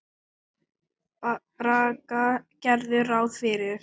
Braga gerðu ráð fyrir.